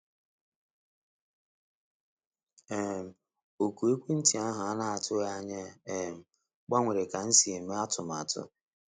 um Oku ekwentị ahụ a na-atụghị anya ya um gbanwere ka m si eme atụmatụ